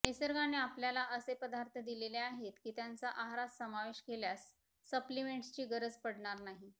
निसर्गाने आपल्याला असे पदार्थ दिलेले आहेत की त्यांचा आहारात समावेश केल्यास सप्लीमेंट्सची गरज पडणार नाही